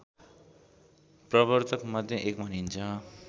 प्रवर्तकमध्ये एक भनिन्छ